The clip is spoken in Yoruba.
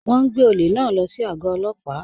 Wọn n gbẹ̀ ọ̀lẹ̀ náà ló sí ago òlópà.